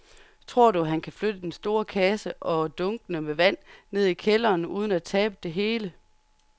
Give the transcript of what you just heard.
Tror du, at han kan flytte den store kasse og dunkene med vand ned i kælderen uden at tabe det hele?